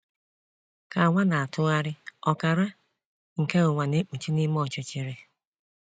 Ka ụwa na-atụgharị, ọkara nke ụwa na ekpuchi n’ime ọchịchịrị.